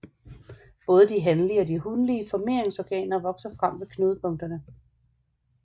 Både de hanlige og de hunlige formeringsorganer vokser frem ved knudepunkterne